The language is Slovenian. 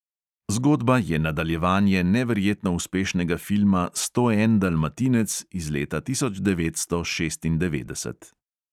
Zgodba je nadaljevanje neverjetno uspešnega filma sto en dalmatinec iz leta tisoč devetsto šestindevetdeset.